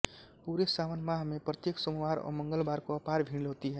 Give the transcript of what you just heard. पूरे सावन माह में प्रत्येक सोमवार व मंगलवार को अपार भीड होती है